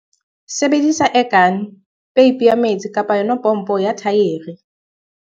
Sebedisa air gun, peipi ya metsi kapa yona pompo ya thaere.